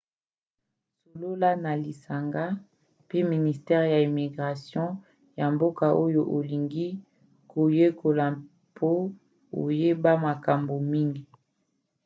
solola na lisanga mpe ministere ya immigration ya mboka oyo olingi koyekola mpo oyeba makambo mingi